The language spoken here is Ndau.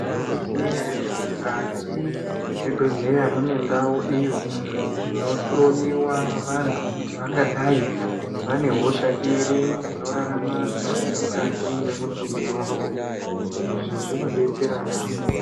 Tinozviziva ere kuti mukati mezvibhedhlera munenge mune ndau iyo inohloiwa vantu kuti dai vane hosha iri inorarama mukati memutumbi mawo inodetsera yambo.